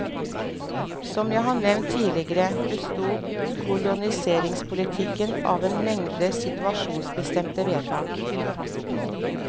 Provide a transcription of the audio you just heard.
Som jeg har nevnt tidligere, besto koloniseringspolitikken av en mengde situasjonsbestemte vedtak.